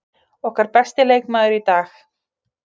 Okkar besti leikmaður í dag.